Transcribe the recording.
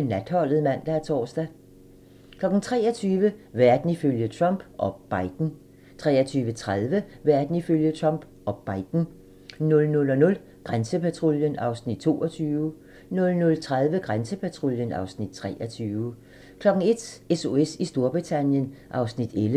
Natholdet (man og tor) 23:00: Verden ifølge Trump - og Biden 23:30: Verden ifølge Trump - og Biden 00:00: Grænsepatruljen (Afs. 22) 00:30: Grænsepatruljen (Afs. 23) 01:00: SOS i Storbritannien (Afs. 11)